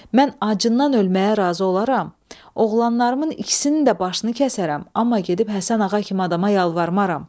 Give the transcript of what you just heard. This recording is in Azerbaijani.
Mən acından ölməyə razı olaram, oğlanlarımın ikisini də başını kəsərəm, amma gedib Həsən ağa kimi adama yalvarmaram.